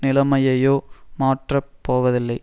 நிலைமையையோ மாற்றப் போவதில்லை